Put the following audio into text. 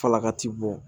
Falaka t'i bɔ